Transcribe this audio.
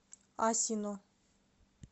асино